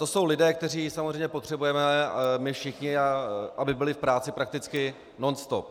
To jsou lidé, které samozřejmě potřebujeme my všichni, aby byli v práci prakticky nonstop.